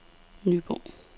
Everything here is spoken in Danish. Nyborg